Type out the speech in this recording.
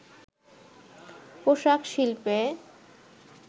পোশাক শিল্পে